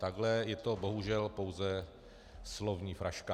Takhle je to bohužel pouze slovní fraška.